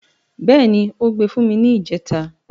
Bẹ́ẹ̀ni, ó gbe fún mi ni ìjẹta.